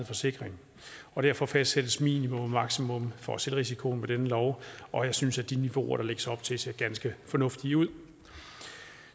forsikring og derfor fastsættes minimum og maksimum for selvrisikoen med denne lov og jeg synes at de niveauer der lægges op til ser ganske fornuftige ud